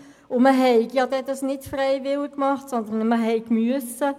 Das habe man alles nicht freiwillig gemacht, sondern man sei gezwungen gewesen.